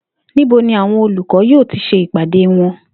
Níbo ni àwo̩n olùkó̩ yóò ti s̩e ìpàdé wo̩n?